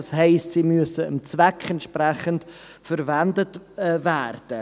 Das heisst, sie müssen dem Zweck entsprechend verwendet werden.